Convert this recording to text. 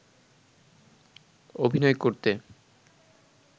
অভিনয় করতে